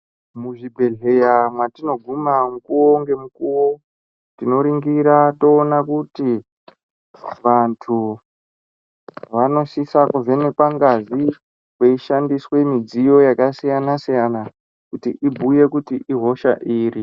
Mu zvibhehleya matino guma mukuwo nge mukuwo tino ringira toona kuti vantu vanosisa ku vhenekwa ngazi kwei shandiswe midziyo yaka siyana siyana kuti ibhuye kuti ihosha iri.